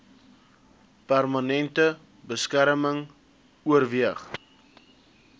permanente beskerming oorweeg